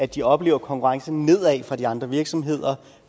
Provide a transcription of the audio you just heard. de oplever konkurrence nedad fra de andre virksomheder